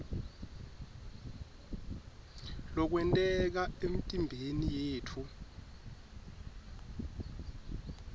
lokwenteka emtimbeni yetfu